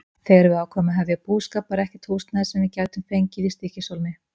Þegar við ákváðum að hefja búskap var ekkert húsnæði, sem við gætum fengið, í Stykkishólmi.